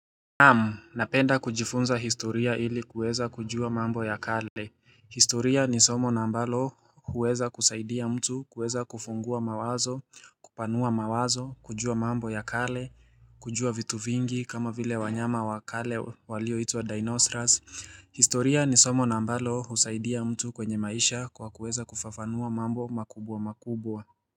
Naamu, napenda kujifunza historia ili kuweza kujua mambo ya kale. Historia ni somo na ambalo huweza kusaidia mtu kuweza kufungua mawazo, kupanua mawazo, kujua mambo ya kale, kujua vitu vingi kama vile wanyama wa kale walio hituwa Dinosaurus. Historia ni somo na ambalo husaidia mtu kwenye maisha kwa kuweza kufafanua mambo makubwa makubwa.